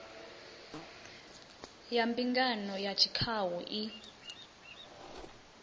ya mbingano ya tshikhau i